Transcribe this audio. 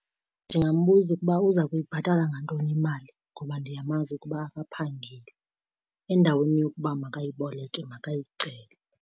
Ndingambuza ukuba uza kuyibhatala ngantoni imali ngoba ndiyamazi ukuba akaphangeli. Endaweni yokuba makayiboleke makayicele.